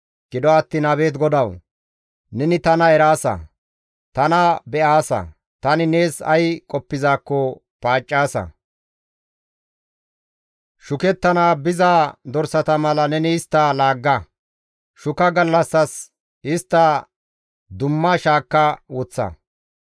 Gido attiin abeet GODAWU! Neni tana eraasa. Tana be7aasa; tani nees ay qoppizaakko paaccaasa. Shukettana biza dorsata mala neni istta laagga! Shuka gallassas istta dumma shaakka woththa!